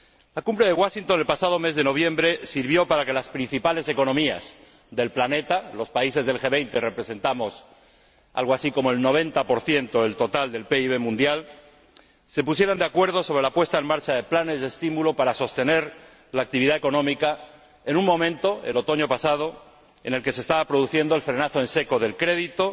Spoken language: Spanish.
La Cumbre de Washington, el pasado mes de noviembre, sirvió para que las principales economías del planeta ―los países del G 20 representamos algo así como el 90 del total del PIB mundial― se pusieran de acuerdo sobre la puesta en marcha de planes de estímulo para sostener la actividad económica en un momento, el otoño pasado, en el que se estaba produciendo el frenado en seco del crédito,